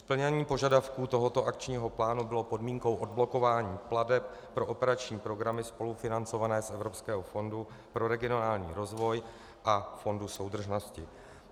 Splnění požadavků tohoto akčního plánu bylo podmínkou odblokování plateb pro operační programy spolufinancované z Evropského fondu pro regionální rozvoj a Fondu soudržnosti.